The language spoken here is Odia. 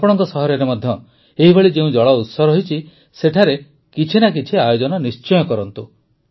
ଆପଣଙ୍କ ସହରରେ ମଧ୍ୟ ଏହିଭଳି ଯେଉଁ ଜଳଉତ୍ସ ରହିଛି ସେଠାରେ କିଛି ନା କିଛି ଆୟୋଜନ ନିଶ୍ଚୟ କରନ୍ତୁ